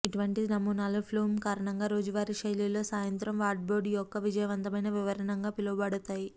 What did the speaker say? ఇటువంటి నమూనాలు ప్లూమ్ కారణంగా రోజువారీ శైలిలో సాయంత్రం వార్డ్రోబ్ యొక్క విజయవంతమైన వివరణగా పిలువబడతాయి